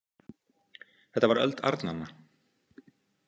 Þetta var öld arnanna.